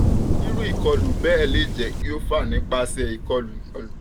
iru ikolu um bẹẹ le jẹ ki o fa nipasẹ um ikolu ikolu